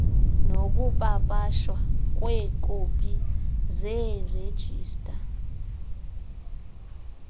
nokupapashwa kweekopi zeerejista